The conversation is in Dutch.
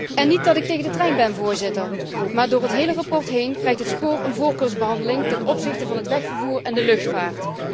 Het is niet zo dat ik tegen de trein ben, Voorzitter, maar door het hele verslag heen krijgt het spoor een voorkeursbehandeling ten opzichte van het wegvervoer en de luchtvaart.